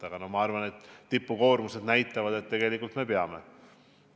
Aga ma arvan, et tipukoormused näitavad, et tegelikult me peame.